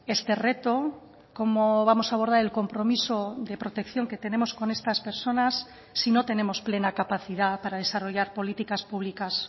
este reto cómo vamos a abordar el compromiso de protección que tenemos con estas personas si no tenemos plena capacidad para desarrollar políticas públicas